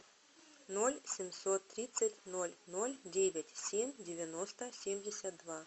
ноль семьсот тридцать ноль ноль девять семь девяносто семьдесят два